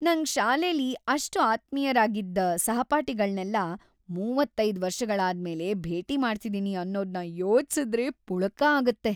ನಂಗ್‌ ಶಾಲೆಲಿ ಅಷ್ಟ್‌ ಆತ್ಮೀಯ್ರಾಗಿದ್ ಸಹಪಾಠಿಗಳ್ನೆಲ್ಲ ೩೫ ವರ್ಷಗಳಾದ್ಮೇಲೆ ಭೇಟಿ ಮಾಡ್ತಿದೀನಿ ಅನ್ನೋದ್ನ ಯೋಚ್ಸುದ್ರೇ ಪುಳಕ ಆಗ್ತಿದೆ.